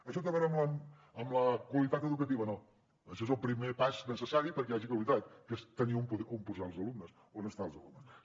això té a veure amb la qualitat educativa no això és el primer pas necessari perquè hi hagi qualitat que és tenir on posar els alumnes on estar els alumnes